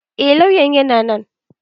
Eh Lauyan na nan.